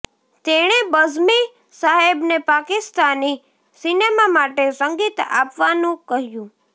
તેણે બઝમી સાહેબને પાકિસ્તાની સિનેમા માટે સંગીત આપવાનું કહ્યું